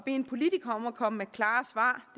en politiker om at komme med klare svar